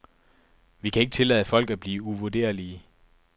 Vi kan ikke tillade folk at blive uvurderlige.